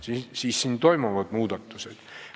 Selles vallas toimuvad muudatused.